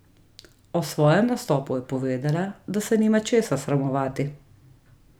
O svojem nastopu je povedala, da se nima česa sramovati.